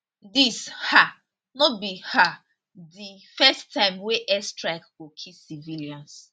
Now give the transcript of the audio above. dis um no be um di first time wey air strike go kill civilians